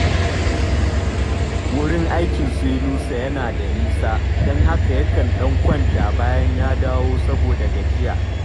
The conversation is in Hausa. Wurin akin su Yunusa yana da nisa, don haka yakan ɗan kwanta bayan ya dawo saboda gajiya